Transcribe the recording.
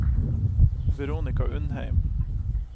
Veronika Undheim